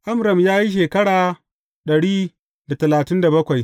Amram ya yi shekara dari da talatin da bakwai.